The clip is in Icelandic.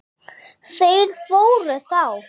Þeir fóru þá.